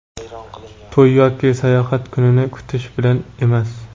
to‘y yoki sayohat kunini kutish bilan emas.